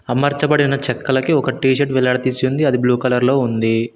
అమర్చబడిన చెక్కలకి ఒక టీ షర్ట్ వేలాడి తీసి ఉంది అది బ్లూ కలర్ లో ఉంది.